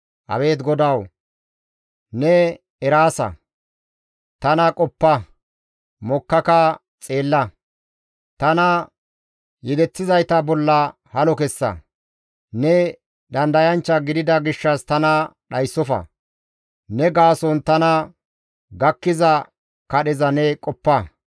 Abeet GODAWU! Ne eraasa. Tana qoppa; mokkaka xeella; tana yedeththizayta bolla halo kessa; ne dandayanchcha gidida gishshas tana dhayssofa; ne gaason tana gakkiza kadheza ne qoppa.